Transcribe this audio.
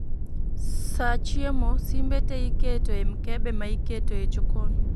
Sa chiemo, simbe te iketo e mkebe ma iketo e jokon